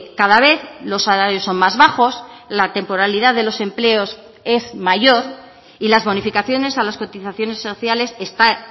cada vez los salarios son más bajos la temporalidad de los empleos es mayor y las bonificaciones a las cotizaciones sociales están